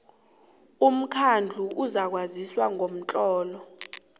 umkhandlu uzakwazisa ngomtlolo